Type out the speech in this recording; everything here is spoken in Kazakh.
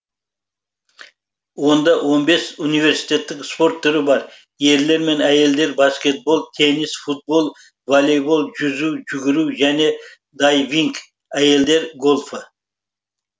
онда он бес университеттік спорт түрі бар ерлер мен әйелдер баскетбол теннис футбол волейбол жүзу жүгіру және дайвинг әйелдер гольфі